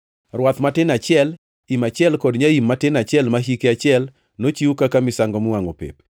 rwath matin achiel, im achiel kod nyaim matin achiel ma hike achiel, nochiw kaka misango miwangʼo pep;